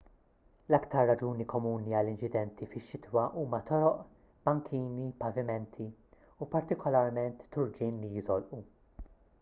l-iktar raġuni komuni għall-inċidenti fix-xitwa huma toroq bankini pavimenti u partikolarment turġien li jiżolqu